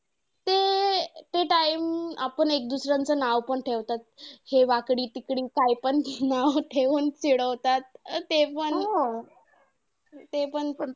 ते time आपण एक दुसऱ्याचं नाव पण ठेवतात. हे वाकडी तिकडी काय पण हे नाव ठेऊन चिडवतात तेपण तेपण